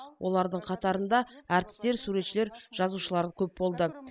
олардың қатарында әртістер суретшілер жазушылар көп болды